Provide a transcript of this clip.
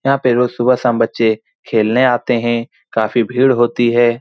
यहाँ पे रोज सुबह शाम बच्चे खेलने आते है काफी भीड़ होती है।